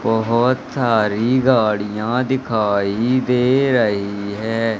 बहोत सारी गाड़ियां दिखाई दे रही है।